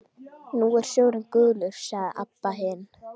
Nú er sjórinn gulur, sagði Abba hin.